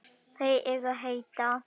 Þær eru heitar.